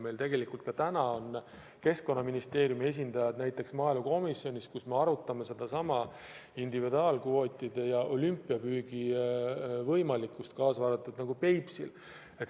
Ka täna on komisjonis Keskkonnaministeeriumi esindajad ja me arutame sedasama individuaalkvootide ja nn olümpiapüügi võimalikkust, kaasa arvatud Peipsil.